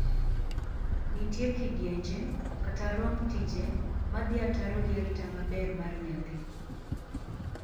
Nitie kidienje, kata romb tije ma dhii ataro gi arita maber mar nyathi.